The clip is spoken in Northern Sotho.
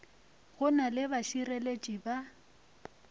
go na le bašireletši ba